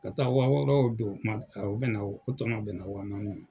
Ka taa wa wɔɔrɔ o don, o tɔnɔ bɛn na wa naani ma.